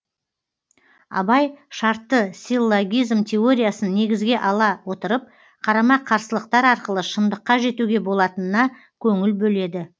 абай шартты силлогизм теориясын негізге ала отырып қарама қарсылықтар арқылы шыңдыққа жетуге болатынына көңіл бөледі